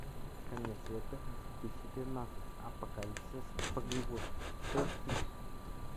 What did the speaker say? конец света две тысячи тринадцать апокалипсис по голливудски поищи